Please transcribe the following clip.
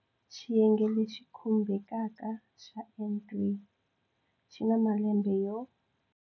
Xiyenge lexi khumbekaka xa N3 xi na malembe yo.